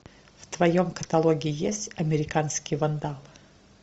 в твоем каталоге есть американский вандал